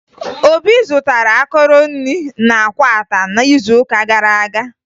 Obi zụtara akọrọ nri na Akwata n'izuụka gara aga